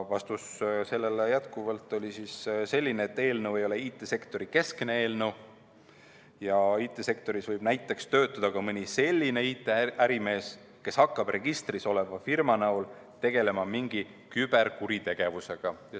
Vastus oli jätkuvalt selline, et eelnõu ei ole IT‑sektori keskne ja IT‑sektoris võib näiteks töötada ka mõni selline IT‑ärimees, kes hakkab registris oleva firma varjus tegelema mingi küberkuritegevusega.